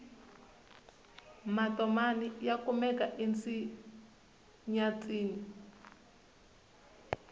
matomani ya kumeka ensenyatsini